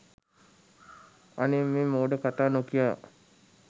අනේ මේ මෝඩ කතා නොකියා